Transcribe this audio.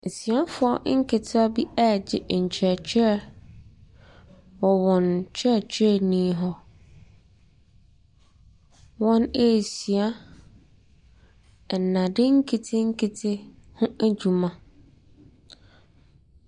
Abaayewa baako bi ne mmɔfra mmiɛnsa bi te pono bi akyi. Na wɔreyɛ abɛɛfo mfidie bi ho adwuma. Na pono ne so no, laptop bi nso si so. Na mmɔfra no ntaadeɛ a wɔhyɛ no ahosuo ne bi ne kɔkɔɔ, akokɔsradeɛ ne ahabanmono.